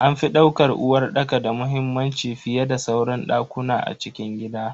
An fi daukar uwarɗaka da muhimmanci fiyeda sauran dakuna a cikin gida.